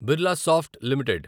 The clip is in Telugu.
బిర్లాసాఫ్ట్ లిమిటెడ్